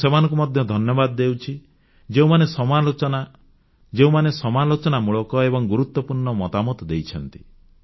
ମୁଁ ସେମାନଙ୍କୁ ମଧ୍ୟ ଧନ୍ୟବାଦ ଦେଉଛି ଯେଉଁମାନେ ସମାଲୋଚନାମୂଳକ ଏବଂ ଗୁରୁତ୍ୱପୂର୍ଣ୍ଣ ମତାମତ ଦେଇଛନ୍ତି